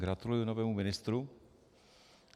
Gratuluji novému ministrovi.